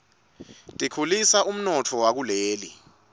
tikhulisa umnotfo wakuleli